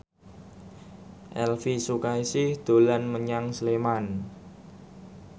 Elvi Sukaesih dolan menyang Sleman